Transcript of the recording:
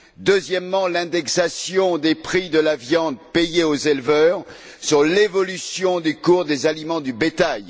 Deuxièmement, l'indexation des prix de la viande payés aux éleveurs sur l'évolution des cours des aliments du bétail.